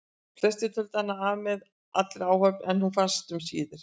Flestir töldu hana af með allri áhöfn en hún fannst um síðir.